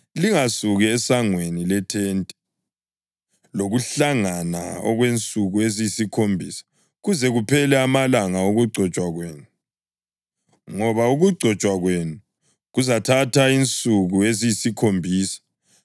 Lingasuki esangweni lethente lokuhlangana okwensuku eziyisikhombisa, kuze kuphele amalanga okugcotshwa kwenu, ngoba ukugcotshwa kwenu kuzathatha insuku eziyisikhombisa.